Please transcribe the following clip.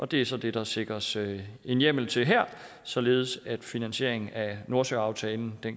det er så det der sikres en hjemmel til her således at finansieringen af nordsøaftalen